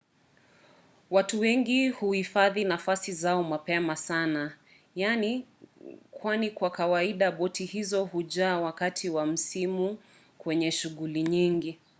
watu wengi huhifadhi nafasi zao mapema sana kwani kwa kawaida boti hizo hujaa wakati wa msimu wenye shughuli nyingi